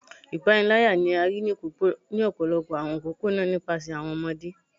Ipanilaya ni a rii ni ọpọlọpọ awọn opopona nipasẹ awọn ọmọde